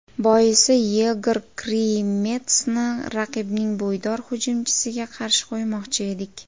Boisi Yegor Krimetsni raqibning bo‘ydor hujumchisiga qarshi qo‘ymoqchi edik.